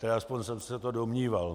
Tedy aspoň jsem se to domníval.